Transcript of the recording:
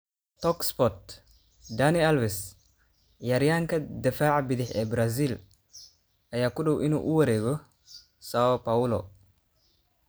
(Talksport) Dani Alves, ciyaaryahanka daafaca bidix ee Brazil, ayaa ku dhow inuu u wareego Sao Paulo.